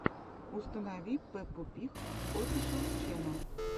установи пеппу пиг офишэл ченнел